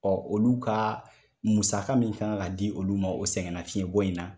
Ɔ olu ka musa min fana kan ka di olu ma o sɛgɛn na fiɲɛ bɔ in na